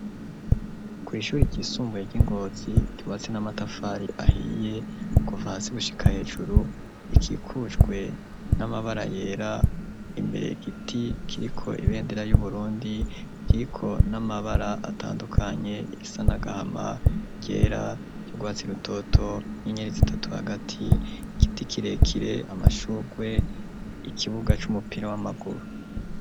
ku ishuri ryisumbuye ry'I Ngozi ry'urwatsi n'amatafari ahiye kuva hasi gushika hejuru, ikikujwe n'amabara yera imbere igiti kiriko ibendera y'Uburundi , kiriko n'amabara atandukanye isa n'agahama, ryera, ry'urwatsi rutoto, n'inyeneri zitatu hagati, igiti kirekire amashurwe, ikibuga c'umupira w'amaguru.